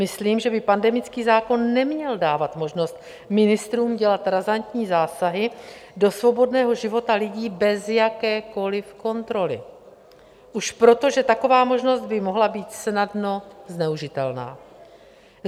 Myslím, že by pandemický zákon neměl dávat možnost ministrům dělat razantní zásahy do svobodného života lidí bez jakékoli kontroly už proto, že taková možnost by mohla být snadno zneužitelná.